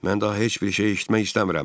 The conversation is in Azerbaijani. Mən daha heç bir şey eşitmək istəmirəm,